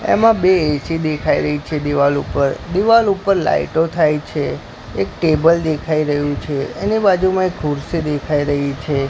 એમાં બે એ_સી દેખાઈ રહી છે દિવાલ ઉપર દિવાલ ઉપર લાઈટો થાય છે એક ટેબલ દેખાઈ રહ્યું છે એની બાજુમાં એક ખુરશી દેખાઈ રહી છે.